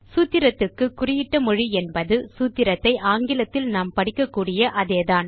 சூத்திரத்துக்கு குறியிட்ட மொழி என்பது சூத்திரத்தை ஆங்கிலத்தில் நாம் படிக்கக்கூடிய அதேதான்